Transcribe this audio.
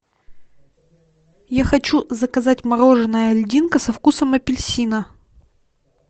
я хочу заказать мороженое льдинка со вкусом апельсина